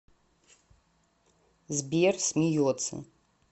сбер смеется